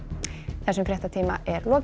þessum fréttatíma er lokið